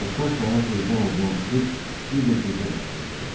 Dostlar səhər tezdən evdən çıxıb bir də gecə qayıdırdılar.